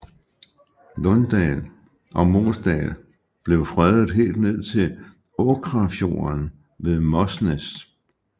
Lundal og Mosdal blev fredet helt ned til Åkrafjorden ved Mosnes